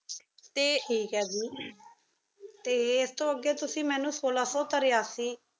ਤੇ ਤੇ ਇਸ ਤੋ ਅਗੀ ਤੁਸੀਂ ਮੇਨੂ ਸੋਲਾ ਸੋ ਤੇਰਾਸੀ